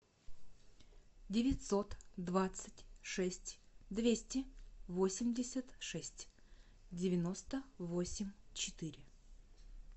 девятьсот двадцать шесть двести восемьдесят шесть девяносто восемь четыре